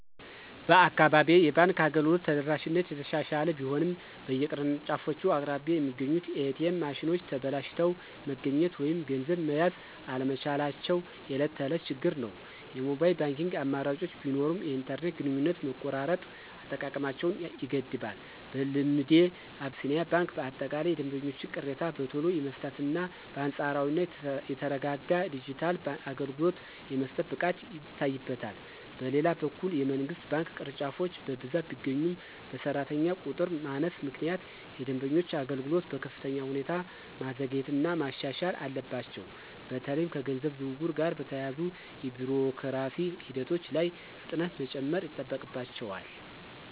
በአካባቢዬ የባንክ አገልግሎት ተደራሽነት እየተሻሻለ ቢሆንም፣ በየቅርንጫፎቹ አቅራቢያ የሚገኙት ኤ.ቲ.ኤም ማሽኖች ተበላሽተው መገኘት ወይም ገንዘብ መያዝ አለመቻላቸው የዕለት ተዕለት ችግር ነው። የሞባይል ባንኪንግ አማራጮች ቢኖሩም፣ የኢንተርኔት ግንኙነት መቆራረጥ አጠቃቀማቸውን ይገድባል። በልምዴ፣ አቢሲኒያ ባንክ በአጠቃላይ የደንበኞችን ቅሬታ በቶሎ የመፍታትና በአንጻራዊነት የተረጋጋ የዲጂታል አገልግሎት የመስጠት ብቃት ይታይበታል። በሌላ በኩል፣ የመንግሥት ባንክ ቅርንጫፎች በብዛት ቢገኙም፣ በሠራተኛ ቁጥር ማነስ ምክንያት የደንበኞችን አገልግሎት በከፍተኛ ሁኔታ ማዘግየትና ማሻሻል አለባቸው። በተለይም ከገንዘብ ዝውውር ጋር በተያያዙ የቢሮክራሲ ሂደቶች ላይ ፍጥነት መጨመር ይጠበቅባቸዋል።